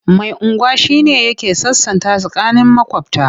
Mai unguwa shi ne yake sasanta tsakanin maƙwabta.